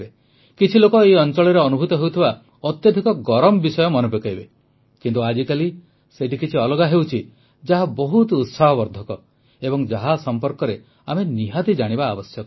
କିଛି ଲୋକ ଏହି ଅଂଚଳରେ ଅନୁଭୂତ ହେଉଥିବା ଅତ୍ୟଧିକ ଗରମ ବିଷୟ ମନେପକାଇବେ କିନ୍ତୁ ଆଜିକାଲି ସେଇଠି କିଛି ଅଲଗା ହେଉଛି ଯାହା ବହୁତ ଉତ୍ସାହବର୍ଦ୍ଧକ ଏବଂ ଯାହା ସମ୍ପର୍କରେ ଆମେ ନିହାତି ଜାଣିବା ଆବଶ୍ୟକ